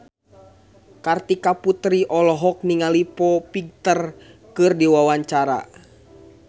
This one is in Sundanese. Kartika Putri olohok ningali Foo Fighter keur diwawancara